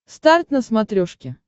старт на смотрешке